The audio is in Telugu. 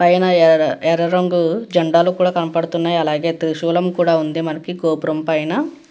పైన ఎర్ర ఎర్ర రంగు జెండాలు కూడా కనపడుతున్నాయి. అలాగే త్రిశూలం కూడా ఉంది మనకి గోపురం పైన.